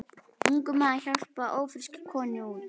Ungur maður hjálpaði ófrískri konu út.